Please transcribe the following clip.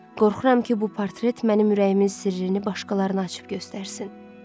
Qorxuram ki, bu portret mənim ürəyimin sirrini başqalarına açıb göstərsin.